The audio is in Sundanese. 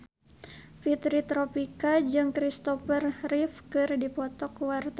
Fitri Tropika jeung Kristopher Reeve keur dipoto ku wartawan